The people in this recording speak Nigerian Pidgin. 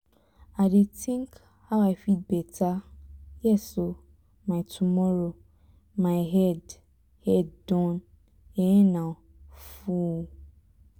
i dey think how i fit better um my tomorrow my head head don um full